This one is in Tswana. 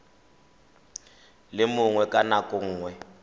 le mongwe ka nako nngwe